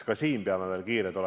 Ka siin peame olema kiired.